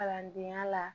Kalandenya la